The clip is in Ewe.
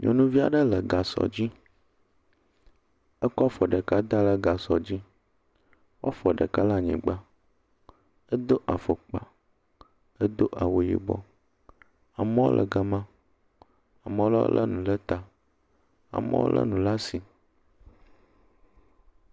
Nyɔnuvi aɖe le gasɔ dzi, ekɔ afɔ ɖeka da ɖe gasɔa dzi, woa fɔ ɖeka le anyigba. Edo afɔkpa, edo awu yibɔ. Amewo le ga ma. Ame aɖewo le nu ɖe ta. Amewo le nu ɖe asi.